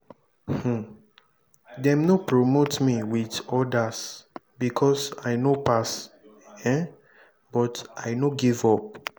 um dem no promote me wit odas because i no pass um but i no give up.